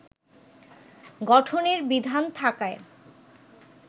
গঠনের বিধান থাকায়